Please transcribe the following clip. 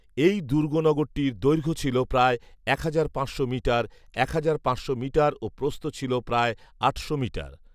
এই দুর্গনগরটির দৈর্ঘ্য ছিল প্রায় এক হাজার পাঁচশো মিটার, এক হাজার পাঁচশো মিটার ও প্রস্থ ছিল প্রায় আটশো মিটার